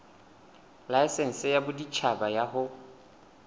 laesense ya boditjhaba ya ho